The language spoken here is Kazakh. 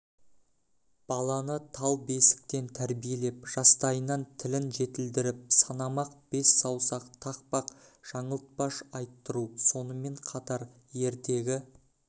баланы тал бесіктен тәрбиелеп жастайынан тілін жетілдіріп санамақ бес саусақ тақпақ жаңылтпаш айттыру сонымен қатар ертегі